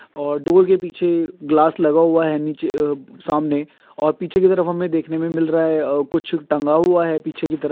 और डोर के पीछे गिलास लगा हुआ हैं निचे अ सामने और पीछे की तरफ हमें देखने को मिल रहा हैं कुछ जो टेंगा हुआ हैं पीछे की तरफ।